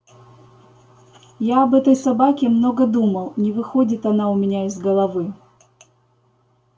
я об этой собаке много думал не выходит она у меня из головы